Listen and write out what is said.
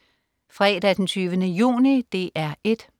Fredag den 20. juni - DR 1: